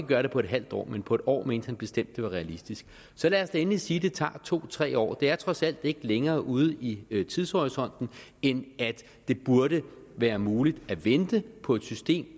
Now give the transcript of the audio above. gøre det på et halvt år men på et år mente han bestemte det var realistisk så lad os da endelig sige at det tager to tre år det er trods alt ikke længere ude i tidshorisonten end at det burde være muligt at vente på et system